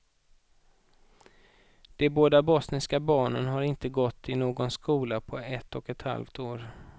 De båda bosniska barnen har inte gått i någon skola på ett och ett halvt år.